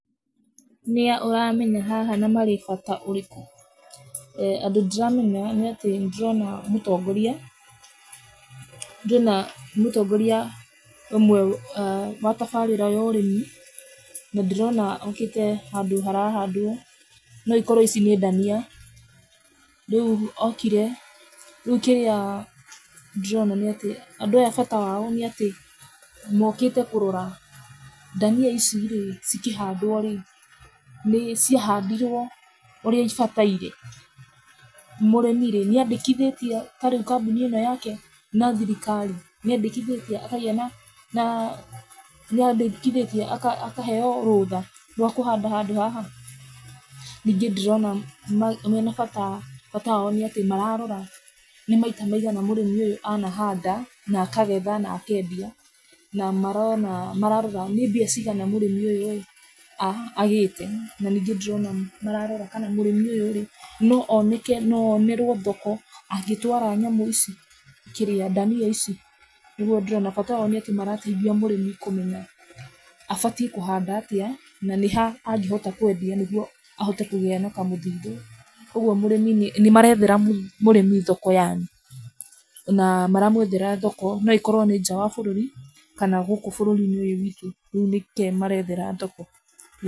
Nĩa ũramenya haha na marĩ na bata ũrĩkũ? Andũ ndĩramenya nĩatĩ nĩndĩrona mũtongoria, ngĩona, mũtongoria, ũyũ wa tabarĩra ya ũrĩmi, nĩndĩrona okĩte handũ hara handwo, nokorwo ici nĩ ndania, rĩu okire, rĩu kĩrĩa ndĩrona nĩatĩ, andũ aya bata wao nĩatĩ mokĩte kũrora ndania ici, cikĩhandwo rĩ, nĩciahandirwo, ũrĩa ibatiire, mũrĩmi rĩ, nĩandĩkithĩtie tarĩu kambũni ĩno yake na thirikari, nĩandĩkithĩtie akagĩa na na, nĩandĩkithĩtie akaheo rũtha rwa kũhanda handũ haha, rĩu nĩndĩrona, me menabata, bata wao nĩatĩ mararora nĩ maita maigana mũrĩmi ũyũ anahanda na akagetha na akendia na marona, mararora, nĩ mbia cigana mũrĩmi ũyũ rĩ a agĩte, na ningĩ ndĩrona mararora kana mũrĩmi ũyũ rĩ, no oneke no onerwo thoko angĩtwara nyamũ ici, kĩrĩa, ndania ici, nĩguo ndĩrona bata wao nĩatĩ marateithia mũrĩmi kũmenya abatiĩ kũhanda atĩa, na nĩ ha angĩtua kwendia nĩguo ahote kũgĩa na kamũthithũ, ũguo mũrĩmi nĩ nĩmarethera mũrĩmi thoko yani, na maramwethera thoko, noĩkorwo nĩ nja ya bũrũri kana gũkũ bũrũri-inĩ ũyũ witũ rĩu nĩkĩ marethera thoko.